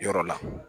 Yɔrɔ la